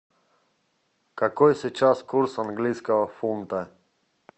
какой сейчас курс английского фунта